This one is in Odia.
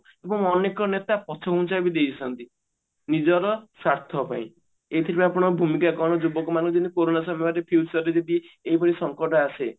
ଏବଂ ଅନେକ ନେତା ପଛ ଘୁଞ୍ଚା ବି ଦେଇଛନ୍ତି ନିଜର ସ୍ଵାର୍ଥ ପାଇଁ ଏଇଥିରୁ ଆପଣ ଭୂମିକା କଣ ଯୁବକ ମାନେ ଯେମତି କୋରନା ସମୟରେ ସେଇ ହିସାବରେ ଯଦି ଏଇଭଳି ସଂକେତ ଆସେ